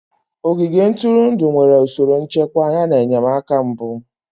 Ogige ntụrụndụ nwere usoro nchekwa yana enyemaka mbụ.